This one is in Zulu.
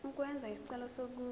ukwenza isicelo sokuba